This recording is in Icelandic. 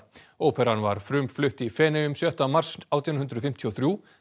óperan var frumflutt í Feneyjum sjötta mars átján hundruð fimmtíu og þrjú